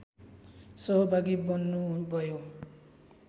सहभागी बन्नुभयो